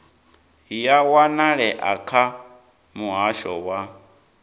ya wanalea kha muhasho wa